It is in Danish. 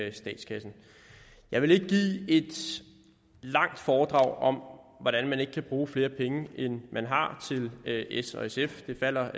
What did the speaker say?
i statskassen jeg vil ikke give et langt foredrag om hvordan man ikke kan bruge flere penge end man har til s og sf der taler